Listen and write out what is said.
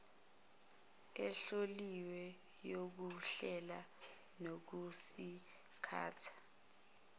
ehloliwe yokuhlela nokusingatha